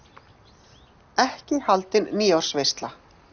Ekki haldin nýársveisla.